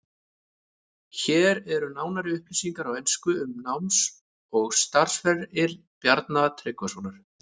Hér eru nánari upplýsingar á ensku um náms- og starfsferil Bjarna Tryggvasonar.